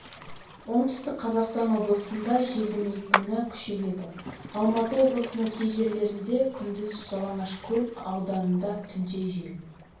оңтүстік қазақстан облысында желдің екпіні с-қа күшейеді алматы облысының кей жерлерінде күндіз жалаңашкөл ауданында түнде жел